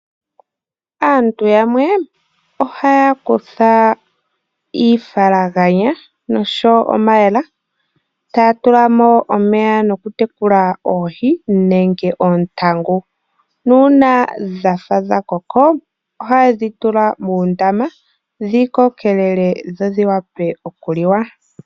Aantu yamwe ohaya kutha iifalaganya, nenge omayemele, e taya tulamo omeya nokutekula oohi, nenge oontangu. Nuuna dhafa dhakoka, ohayedhi tula moondama, dhi kokelele, dho dhiwape okuliwa.